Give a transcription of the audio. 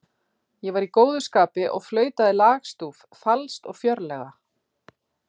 Ég var í góðu skapi og flautaði lagstúf falskt og fjörlega.